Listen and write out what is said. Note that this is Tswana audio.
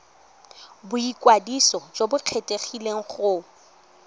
boikwadiso jo bo kgethegileng go